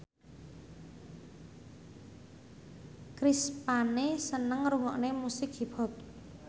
Chris Pane seneng ngrungokne musik hip hop